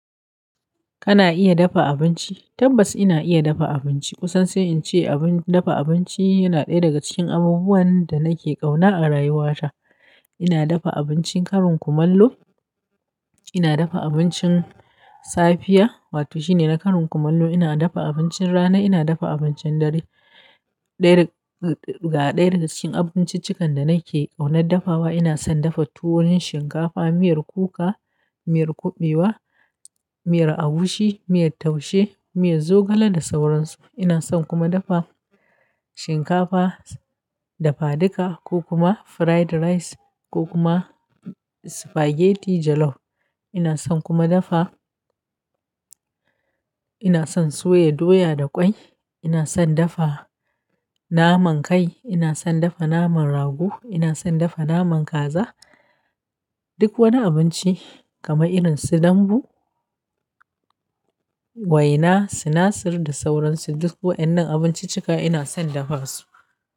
Kana iya dafa abinci? Tabbas ina iya dafa abinci. Kusan sai in ce abin dafa abinci yana ɗaya daga cikin abubuwan da nake ƙauna a rayuwata. Ina dafa abincin karin kumallo. Ina dafa abincin safiya wato shine na karin kumallo. Ina dafa abincin rana. Ina dafa abincin dare. Ɗaya ga ɗaya daga cikin abinciccikan da nake ƙaunar dafawa. Ina son dafa tuwon shinkafa, miyar kuka, miyar kuɓewa, miyar agushi, miyar taushe, miyar zogale da sauransu. Ina son kuma dafa shinkafa dafaduka ko kuma fried rice ko kuma spaghetti jollof. Ina son kuma dafa ina son soya doya da ƙwai. Ina son dafa naman kai. Ina son dafa naman rago. Ina son dafa naman kaza. Duk wani abinci kamar irin su dambu, waina, sinasir da sauransu. Duk waɗannan abinciccika ina son dafa su.